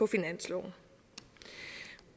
finansloven